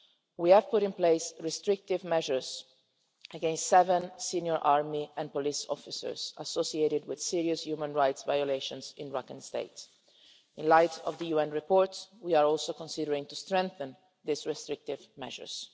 We have put in place restrictive measures against seven senior army and police officers associated with serious human rights violations in Rakhine State. In light of the UN report we are considering strengthening these restrictive measures.